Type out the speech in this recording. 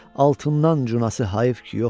altından cunası hayf ki yoxdur.